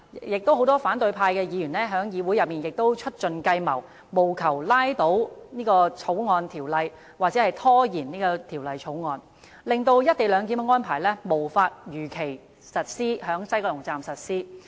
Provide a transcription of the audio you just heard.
亦有很多反對派議員在議會內千方百計，務求拖延《條例草案》的通過，甚至將之拉倒，令"一地兩檢"安排無法如期在西九龍站實施。